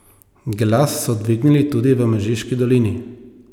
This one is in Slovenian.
Glas so dvignili tudi v Mežiški dolini.